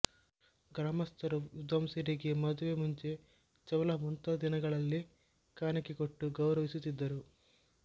ಗ್ರಾಮಸ್ಥರು ವಿದ್ವಾಂಸರಿಗೆ ಮದುವೆ ಮುಂಜಿ ಚೌಲ ಮುಂತಾದ ದಿನಗಳಲ್ಲಿ ಕಾಣಿಕೆ ಕೊಟ್ಟು ಗೌರವಿಸುತ್ತಿದ್ದರು